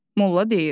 Molla deyir: